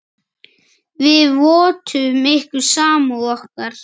Við vottum ykkur samúð okkar.